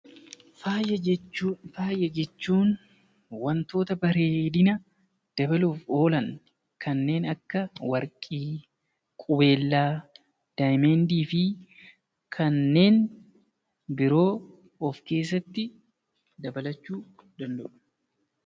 Faaya jechuun wantoota bareedina dabaluuf oolan kanneen akka Warqii, Qubeelaa, Daayimandii fi kanneen biroo of keessatti dabalachuu danda'u.